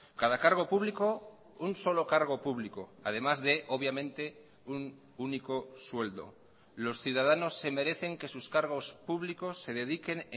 cada cargo público un solo cargo público además de obviamente un único sueldo los ciudadanos se merecen que sus cargos públicos se dediquen